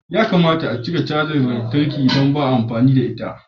Ya kamata a cire cajar lantarki idan ba a amfani da ita.